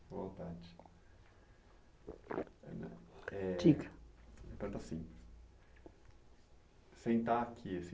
À vontade. Eh. Diga. Pergunto assim. Sentar aqui assim